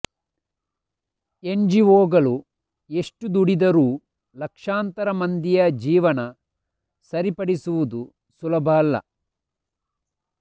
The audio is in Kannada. ಎನ್ಜಿವೊಗಳು ಎಷ್ಟು ದುಡಿದರೂ ಲಕ್ಷಾಂತರ ಮಂದಿಯ ಜೀವನ ಸರಿಪಡಿಸುವುದು ಸುಲಭ ಅಲ್ಲ